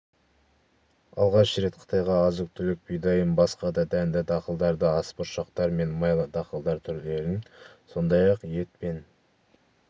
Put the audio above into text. алғаш рет қытайға азық-түлік бидайын басқа да дәнді-дақылдарды асбұршақтар мен майлы дақылдар түрлерін сондай-ақ ет пен